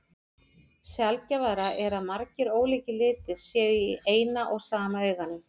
Sjaldgæfara er að margir ólíkir litir séu í eina og sama auganu.